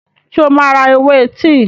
Ṣé o máa ra ewé tíì?